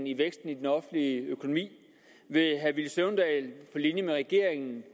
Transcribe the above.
i væksten i den offentlige økonomi vil herre villy søvndal på linje med regeringen